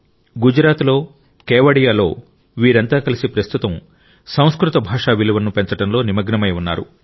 గుజరాత్లో కేవడియాలో వీరంతా కలిసి ప్రస్తుతం సంస్కృత భాష విలువను పెంచడంలో నిమగ్నమై ఉన్నారు